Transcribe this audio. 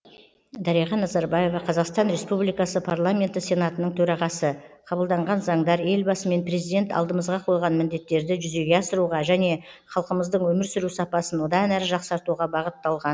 дариға назарбаева қазақстан республикасы парламенті сенатының төрағасы қабылданған заңдар елбасы мен президент алдымызға қойған міндеттерді жүзеге асыруға және халқымыздың өмір сүру сапасын одан әрі жақсартуға бағытталған